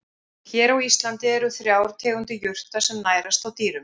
Hér á Íslandi eru þrjár tegundir jurta sem nærast á dýrum.